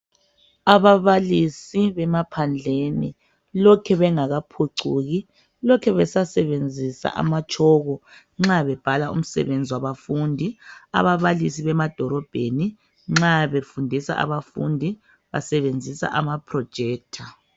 Ababalisi bemaphandleni lokhe belngakaphucuki lokhe besasebenzisa ama tshoko nxa bebhala umsebenzi wabafundi ababalisi bemadolobheni nxa befundisa abafundi basebenzisa ama projector